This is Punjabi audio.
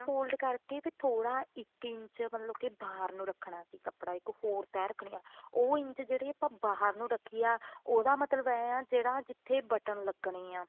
fold ਕਰਕੇ ਵੀ ਥੋੜਾ ਇੱਕ ਇੰਚ ਮਤਲਬ ਕਿ ਬਾਹਰ ਨੂੰ ਰੱਖਣਾ ਸੀ ਕੱਪੜਾ ਇੱਕ four ਤੈਂਹ ਰੱਖਨੀ ਆ ਉਹ ਇੰਝ ਜਿਹੜੀ ਆਪਾਂ ਬਾਹਰ ਨੂੰ ਰੱਖੀ ਹੈ ਉਹਦਾ ਮਤਲਬ ਐਂ ਜਿਹੜਾ ਜਿੱਥੇ button ਲੱਗਣੇ ਐ